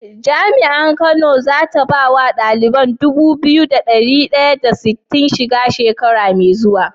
Jami'ar kano zata bawa ɗalibai Dubu biyu da dari daya da sitin shiga shekara me zuwa?